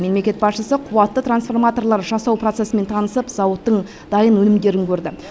мемлекет басшысы қуатты трансформаторлар жасау процесімен танысып зауыттың дайын өнімдерін көрді